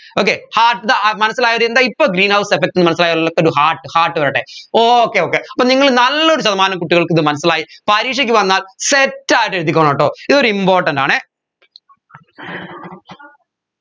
okay heart ഇട അഹ് മനസ്സിലായവർ എന്താ ഇപ്പോ greenhouse effect ന്ന് മനസ്സിലായവരൊല്ലൊക്കെ ഒരു heart വരട്ടെ okay okay അപ്പോ നിങ്ങൾ നല്ലൊരു ശതമാനം കുട്ടികൾക്ക് ഇത് മനസ്സിലായി പരീക്ഷയ്ക്ക് വന്നാൽ set ആയിട്ട് എഴുതിക്കോണട്ടോ ഇതൊരു important ആണേ